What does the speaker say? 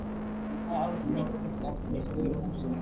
Það hafði aldrei neinn spurt eftir mér í gula húsinu.